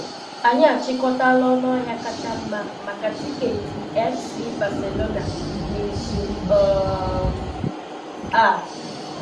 Anyị achịkọtala ọnụ ahịa kacha mma maka tiketi FC Barcelona n'izu um a.